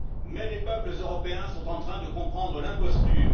Mais les peuples européens sont en train de comprendre l'imposture.